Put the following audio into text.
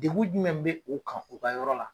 Degun jumɛn be o kan u ka yɔrɔ la ?